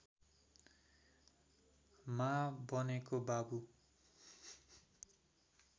मा बनेको बाबु